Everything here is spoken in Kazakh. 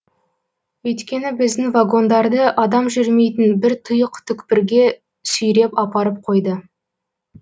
өйткені біздің вагондарды адам жүрмейтін бір тұйық түкпірге сүйреп апарып қойды